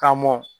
K'a mɔn